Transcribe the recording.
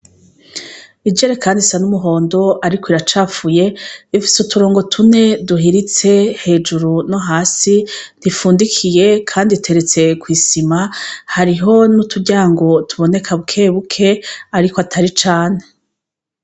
Ijere, kandi isa n'umuhondo, ariko iracapfuye ifise uturongo tume duhiritse hejuru no hasi ntifundikiye, kandi iteretse kw'isima hariho ni'uturya ngo tuboneka bwebuke, ariko atari cane.